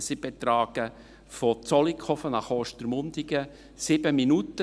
sie betragen von Zollikofen nach Ostermundigen 7 Minuten.